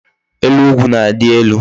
Elu ugwu na-adi elu